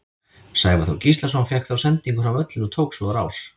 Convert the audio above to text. Sævar Þór Gíslason fékk þá sendingu fram völlinn og tók svo á rás.